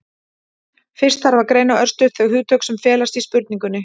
fyrst þarf að greina örstutt þau hugtök sem felast í spurningunni